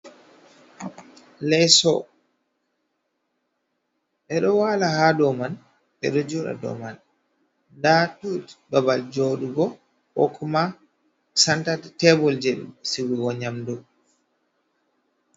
Leso be do wala ha do man be do joda do man, da tut babal jodugo kokuma santatebel je sigugo nyamdo.